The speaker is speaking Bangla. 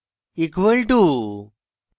= equal to